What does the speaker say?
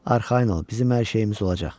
Arxayın ol, bizim hər şeyimiz olacaq.